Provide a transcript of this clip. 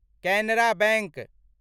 Canara bank